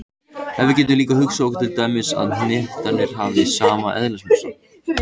En við getum líka hugsað okkur til dæmis að hnettirnir hafi sama eðlismassa.